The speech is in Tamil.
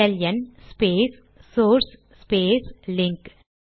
LN space source space link